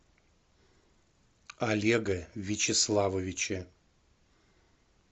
олега вячеславовича